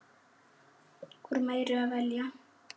Úr meiru að velja!